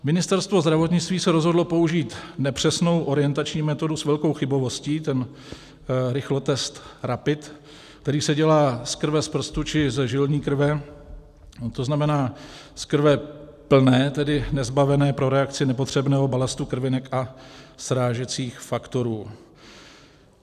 Ministerstvo zdravotnictví se rozhodlo použít nepřesnou, orientační metodu s velkou chybovostí, ten rychlotest Rapid, který se dělá z krve z prstu, čili ze žilní krve, to znamená z krve plné, tedy nezbavené pro reakci nepotřebného balastu krvinek a srážecích faktorů.